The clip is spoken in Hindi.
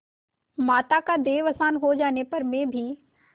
माता का देहावसान हो जाने पर मैं भी